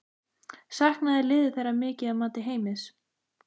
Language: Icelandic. Saknaði liðið þeirra mikið að mati Heimis?